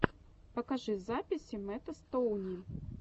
покажи записи мэтта стоуни